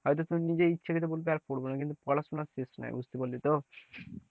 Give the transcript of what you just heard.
হয়তো নিজেই ইচ্ছাকৃত বলবে আর পড়বো না, কিন্তু পড়াশোনা শেষ নাই বুঝতে পারলে তো,